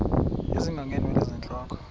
ezinga ngeenwele zentloko